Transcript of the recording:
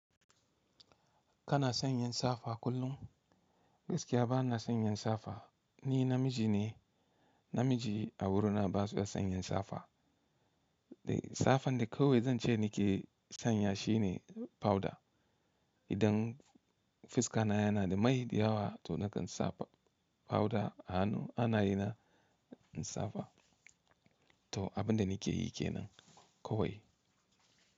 Kana sanyin safa kullum? Gaskiya bana sanyin safa. Ni namiji ne, namiji a wurina ba sa sanyin safa. Safan da kawai zan ce nike sanya shine powder. Idan fuska na yana da mai da yawa to nakan sa powder a hanu ana yana safa. To abin da nike yi ke nan kawai.